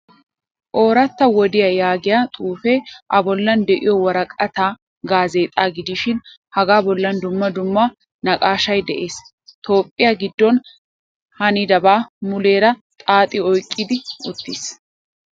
Oorata wodiyaa yaagiyaa xuufe a bollan de'iyo woraqqatay gaazexxa gidishin haga bollan dumma dumma naaqashshay de'ees. Toophphiya giddon hanidaba muleera xaaxi oyqqi uttiis.